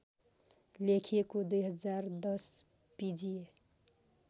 खेलिएको २०१० पिजिए